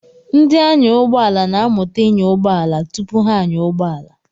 Ndị anyàụgbọala na-amụta ịnya ụgbọala tupu ha anyaa ụgbọala.